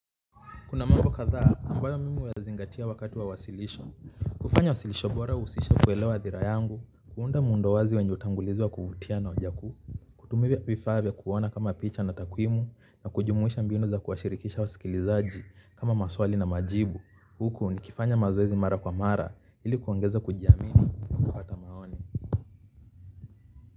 Kuna mambo kadha ambayo mimi huyazingatia wakati wa wasilisho. Kufanya wasilisho bora huhusisha kuelewa hadhira yangu, kuunda muundo wazi wenye hutangulizwa kuvutia na hoja kuu. Kutumia vifaa vya kuona kama picha na takwimu na kujumuisha mbinu za kuwashirikisha wasikilizaji kama maswali na majibu huku nikifanya mazoezi mara kwa mara ili kuongeza kujiamini na kupata maoni.